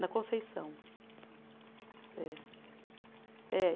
Na Conceição. É. É